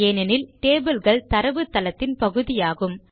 ஏனெனில் டேபிள் கள் தரவுத்தளத்தின் பகுதியாகும்